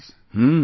Hmm